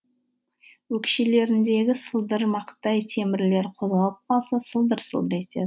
өкшелеріндегі сылдырмақтай темірлері қозғалып қалса сылдыр сылдыр